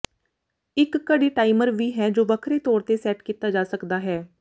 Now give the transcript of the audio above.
ਇੱਕ ਘੜੀ ਟਾਈਮਰ ਵੀ ਹੈ ਜੋ ਵੱਖਰੇ ਤੌਰ ਤੇ ਸੈਟ ਕੀਤਾ ਜਾ ਸਕਦਾ ਹੈ